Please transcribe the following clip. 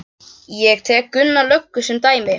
Ég tek Gumma löggu sem dæmi.